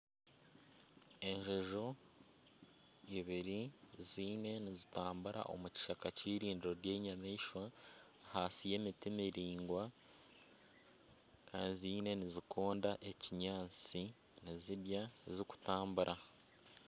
Enjojo ibiri ziriyo nizitambura omu kishaka ky'irindiiro ry'enyamaishwa ahansi y'emiti miraingwa kandi ziine nizikonda ekinyaatsi nizirya zirikutambura.